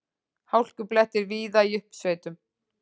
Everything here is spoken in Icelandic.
Hálkublettir víða í uppsveitum